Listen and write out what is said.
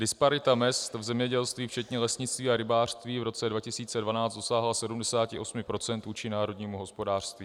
Disparita mezd v zemědělství včetně lesnictví a rybářství v roce 2012 dosáhla 78 % vůči národnímu hospodářství.